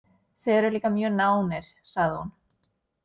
Þið eruð líka mjög nánir, sagði hún.